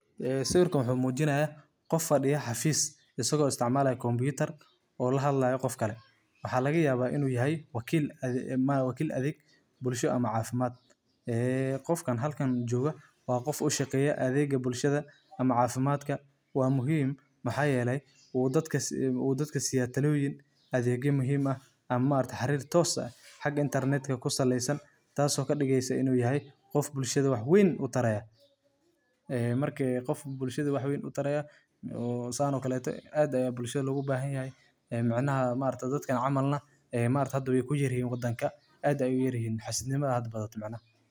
Kalfadhiga telemedicine-ka waa hab casri ah oo caafimaad oo u suurtageliya bukaanka iyo dhakhaatiirta inay isugu yimaadaan iyagoo aan goob isku jirin, iyadoo la adeegsanayo teknoolojiyadda internetka iyo aaladaha isgaarsiinta sida taleefannada casriga ah, kombiyuutarada, iyo tablet-yada. Habkani wuxuu fududeeyaa in bukaanku helo daryeel caafimaad oo degdeg ah, gaar ahaan marka uu ku jiro meel fog ama aan si fudud loo gaari karin xarumaha caafimaadka.